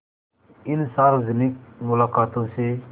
इन सार्वजनिक मुलाक़ातों से